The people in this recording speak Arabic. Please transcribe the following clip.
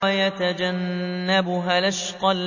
وَيَتَجَنَّبُهَا الْأَشْقَى